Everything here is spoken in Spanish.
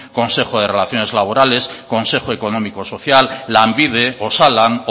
consejos de relaciones laborales consejo económico social lanbide osalan